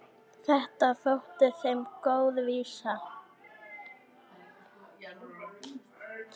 Þetta þótti þeim góð vísa.